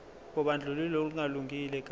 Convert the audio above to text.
kobandlululo olungalungile ka